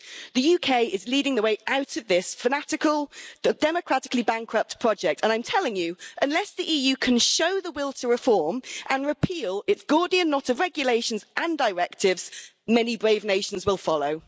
The UK is leading the way out of this fanatical, democratically-bankrupt project and I'm telling you, unless the EU can show the will to reform and repeal its Gordian knot of regulations and directives, many brave nations will follow.